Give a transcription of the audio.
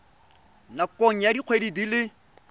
nakong ya dikgwedi di le